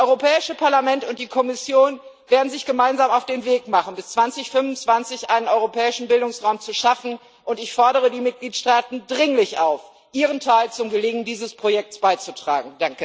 Das Europäische Parlament und die Kommission werden sich gemeinsam auf den Weg machen, bis 2025 einen Europäischen Bildungsraum zu schaffen, und ich fordere die Mitgliedstaaten dringlich auf, ihren Teil zum Gelingen dieses Projekt beizutragen.